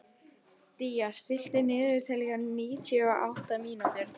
Día, stilltu niðurteljara á níutíu og átta mínútur.